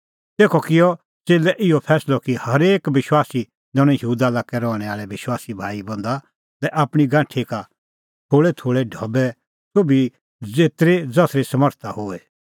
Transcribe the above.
तेखअ किअ च़ेल्लै इहअ फैंसलअ कि हरेक विश्वासी दैणअ यहूदा लाक्कै रहणैं आल़ै विश्वासी भाईबंधा लै आपणीं गांठी का थोल़ैथोल़ै ढबै सोभी ज़ेतरी ज़सरी समरता होए